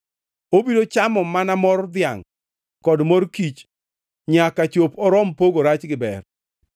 Obiro chamo mana mor dhiangʼ kod mor kich nyaka chop orom pogo rach gi ber.